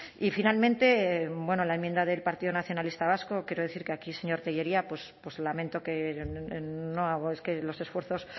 y finalmente bueno la enmienda del partido nacionalista vasco quiero decir que aquí señor tellería pues lamento que los esfuerzos